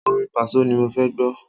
Orin Pàsó ni mo fẹ́ gbọ́.